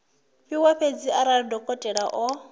fhiwa fhedzi arali dokotela o